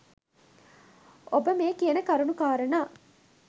ඔබ මේ කියන කරුණු කාරණා